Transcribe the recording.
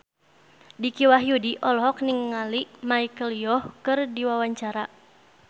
Dicky Wahyudi olohok ningali Michelle Yeoh keur diwawancara